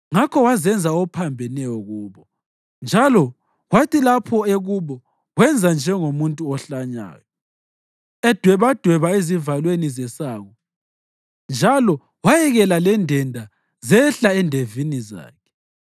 Ngakho wazenza ophambeneyo kubo; njalo kwathi lapho ekubo wenza njengomuntu ohlanyayo, edwebadweba ezivalweni zesango njalo wayekela lendenda zehlela endevini zakhe.